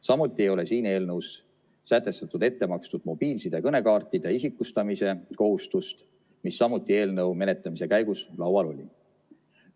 Samuti ei ole siin eelnõus sätestatud ettemakstud mobiilside kõnekaartide isikustamise kohustust, mis samuti eelnõu menetlemise käigus laual oli.